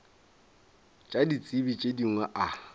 tša ditsebi tše dingwe a